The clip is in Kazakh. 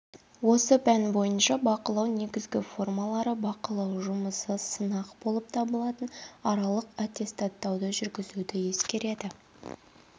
осы пән бойынша бақылау негізгі формалары бақылау жұмысы сынақ болып табылатын аралық аттестаттауды жүргізуді ескереді